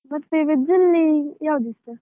ಮತ್ತೆ, veg ಅಲ್ಲಿ ಯಾವುದು ಇಷ್ಟ?